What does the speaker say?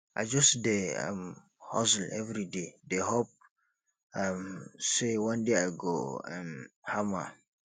i just dey um hustle everyday dey hope um sey one day i go um hammer